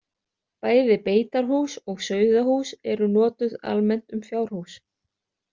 Bæði beitarhús og sauðahús eru notuð almennt um fjárhús.